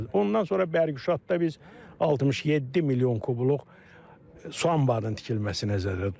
Ondan sonra Bərgişadda biz 67 milyon kubluq su anbarının tikilməsi nəzərdə tutulur.